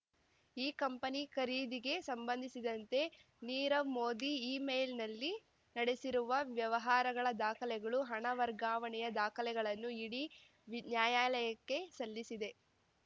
ಈ ಕಂಪನಿ ಖರೀದಿಗೆ ಸಂಬಂಧಿಸಿದಂತೆ ನೀರವ್ ಮೋದಿ ಇಮೇಲ್‌ನಲ್ಲಿ ನಡೆಸಿರುವ ವ್ಯವಹಾರಗಳ ದಾಖಲೆಗಳು ಹಣ ವರ್ಗಾವಣೆಯ ದಾಖಲೆಗಳನ್ನು ಇಡಿ ನ್ಯಾಯಾಲಯಕ್ಕೆ ಸಲ್ಲಿಸಿದೆ